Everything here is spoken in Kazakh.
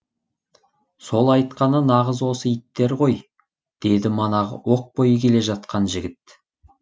сол айтқаны нағыз осы иттер ғой деді манағы оқ бойы келе жатқан жігіт